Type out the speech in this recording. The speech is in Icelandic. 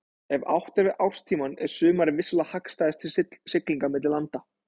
Ef átt er við árstímann er sumarið vissulega hagstæðast til siglinga milli landa.